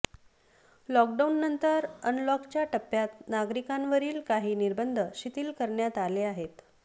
लॉकडाऊननंतर अनलॉकच्या टप्प्यात नागरिकांवरील काही निर्बंध शिथिल करण्यात आले आहेत